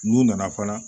N'u nana fana